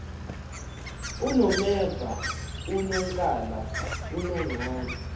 unomeva unonkala unonqane